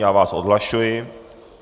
Já vás odhlašuji.